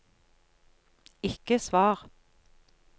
ikke svar